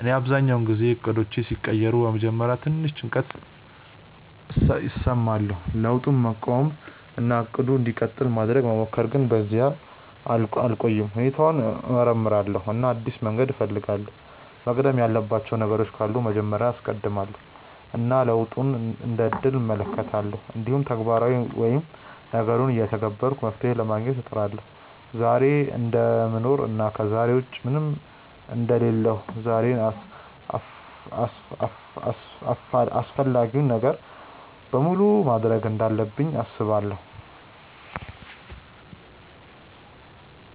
እኔ አብዛኛውን ጊዜ እቅዶቼ ሲቀየሩ በመጀመሪያ ትንሽ ጭንቀት እሰማለሁ፣ ለውጡን መቃወም እና “እቅዱ እንዲቀጥል” ማድረግ መሞከር፣ ግን በዚያ አልቆይም። ሁኔታውን እመርምራለሁ እና አዲስ መንገድ እፈልጋለሁ፤ መቅደም ያለባቸው ነገሮች ካሉ መጀመሪያ ላይ አስቀድማለው እና ለውጡን እንደ እድል እመለከታለሁ። እንዲሁም ተግባራዊ ወይም ነገሩን እየተገበርኩ መፍትሄ ለማግኘት እጥራለሁ። ዛሬን እደምኖር እና ከዛሬ ውጪ ምንም አንደ ሌለሁ ዛሬን አፈላጊውን ነገር በሙሉ ማድርግ እንዳለብኝ አስባለው።